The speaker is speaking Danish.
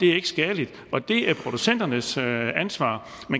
er skadeligt og det er producenternes ansvar